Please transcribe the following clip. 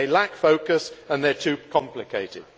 They lack focus and they are too complicated.